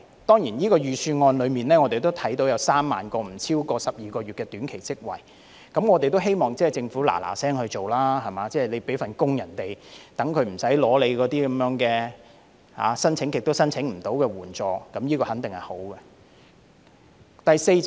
當然，我們看到這份預算案有3萬個不超過12個月的短期職位，我們亦希望政府趕快實行，為市民提供工作，免他們申領那些一直無法成功申請的援助，這肯定是好事。